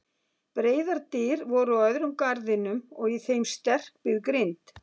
Breiðar dyr voru á öðrum garðinum og í þeim sterkbyggð grind.